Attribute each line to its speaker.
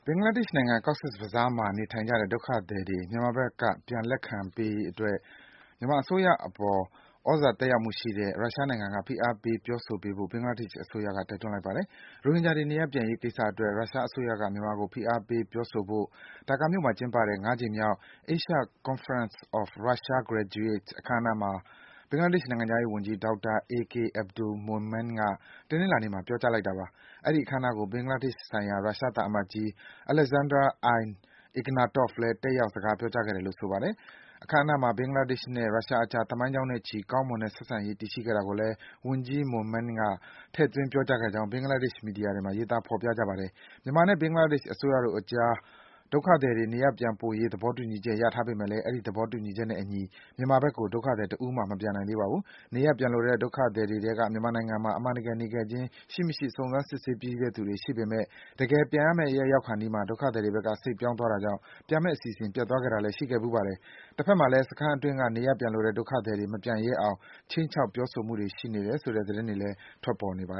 Speaker 1: င်္ဂလားဒေ့ရှ်နိုင်ငံ၊ Cox’s Bazar မှာ နေထိုင်နေကြတဲ့ ဒုက္ခသည်တွေ မြန်မာဘက်က ပြန်လက်ခံရေးအတွက် မြန်မာအစိုးရအပေါ် သြဇာသက်ရောက်မှုရှိတဲ့ ရုရှားနိုင်ငံက ဖိအားပေး ပြောဆိုပေးဖို့ ဘင်္ဂလားဒေ့ရှ်အစိုးရက တိုက်တွန်းလိုက်ပါတယ်။ ရိုဟင်ဂျာတွေ နေရပ်ပြန်ရေးကိစ္စအတွက် ရုရှားအစိုးရက မြန်မာကို ဖိအားပေး ပြောဆိုဖို့ ဒါကာမြို့မှာ ကျင်းပတဲ့ ၅ ကြိမ်မြောက် Asia Conference of Russia Graduates အခမ်းအနားမှာ ဘင်္ဂလားဒေ့ရှ်နိုင်ငံခြားရေးဝန်ကြီး ဒေါက်တာ AK Abdul Momen က တနင်္လာနေ့မှာ ပြောကြားလိုက်တာပါ။ အဲဒီ အခမ်းအနားကို ဘင်္ဂလားဒေ့ရှ်ဆိုင်ရာ ရုရှားသံအမတ်ကြီး Alexander I. Ignatov လည်း တက်ရောက် စကားပြောကြားခဲ့တယ်လို့ ဆိုပါတယ်။ အခမ်းအနားမှာ ဘင်္ဂလားဒေ့ရှ်နဲ့ ရုရှားအကြား သမိုင်းကြောင်းနဲ့ချီပြီး ကောင်းမွန်တဲ့ ဆက်ဆံရေး တည်ရှိခဲ့တာကိုလည်း ဝန်ကြီး Momen က ထည့်သွင်း ပြောကြားခဲ့ကြောင်း ဘင်္ဂလားဒေ့ရှ် သတင်းမီဒီယာတွေမှာ ဖော်ပြကြပါတယ်။ မြန်မာနဲ့ ဘင်္ဂလားဒေ့ရှ်အစိုးရတို့အကြား ဒုက္ခသည်တွေ နေရပ်ပြန်ပို့ရေး သဘောတူညီချက် ရထားပေမယ့်လည်း အဲဒီသဘောတူညီချက်နဲ့ အညီ မြန်မာဘက်ကို ဒုက္ခသည်တဦးမှ မပြန်နိုင်သေးပါဘူး။ နေရပ်ပြန်လိုတဲ့ ဒုက္ခသည်တွေထဲက မြန်မာနိုင်ငံမှာ အမှန်တကယ် နေခဲ့ခြင်း ရှိမရှိဆိုတဲ့ စုံစမ်းစစ်ဆေးပြီးတဲ့သူတွေရှိနေပေမယ့် တကယ်ပြန်မယ့်ရောက်ခါနီးမှာ ဒုက္ခသည်တွေဘက်က စိတ်ပြောင်းသွားတာကြောင့် ပြန်မယ့် အစီအစဉ်ပျက်သွားခဲ့တာလည်း ရှိခဲ့ဘူးပါတယ်။ တဘက်မှာလည်း စခန်းအတွင်းက နေရပ်ပြန်လိုတဲ့ ဒုက္ခသည်တွေ မပြန်ရဲအောင် ခြိမ်းခြောက် ပြောဆိုမှုတွေ ရှိနေတယ်ဆိုတဲ့ သတင်းတွေလည်း
Speaker 2: ထွက်ပေါ်နေတာပါ